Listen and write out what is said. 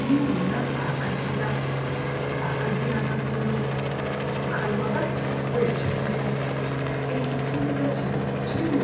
Ndiboona akagila, akagila katono nga kali ghagati ghe kibira. Ekibira kino kilimu